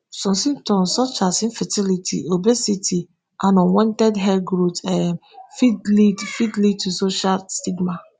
some symptoms such as infertility obesity and unwanted hair growth um fit lead fit lead to social stigma.